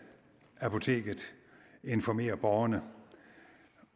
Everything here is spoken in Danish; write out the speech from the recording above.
apoteket informere borgerne